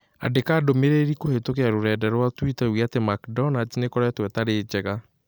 Andĩka ndũmĩrĩri kũhĩtũkĩra rũrenda rũa tũita uuge atĩ McDonald's nĩ ĩkoretwo ĩtarĩ njega